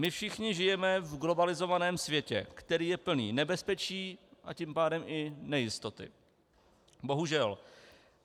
My všichni žijeme v globalizovaném světě, který je plný nebezpečí, a tím pádem i nejistoty, bohužel.